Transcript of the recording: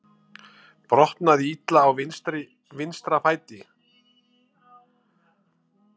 Brotnaði illa á vinstra fæti